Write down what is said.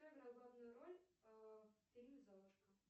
кто играл главную роль в фильме золушка